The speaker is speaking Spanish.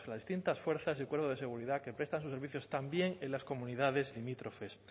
distintas fuerzas y cuerpos de seguridad que prestan sus servicios también en las comunidades limítrofes